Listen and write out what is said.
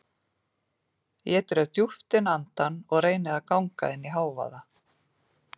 Ég dreg djúpt inn andann og reyni að ganga inn í hávaða